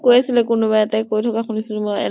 কৈ আছিলে কোনোবা এটাই তেনেকুৱা শুনিছিলো মই